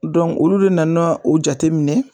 olu de nana o jateminɛ